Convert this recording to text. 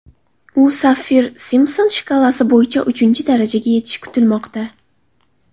U Saffir–Simpson shkalasi bo‘yicha uchinchi darajaga yetishi kutilmoqda.